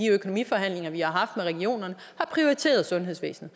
økonomiforhandlinger vi har regionerne har prioriteret sundhedsvæsenet